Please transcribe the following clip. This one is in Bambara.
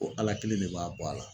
O Ala kelen ne b'a bɔ a la.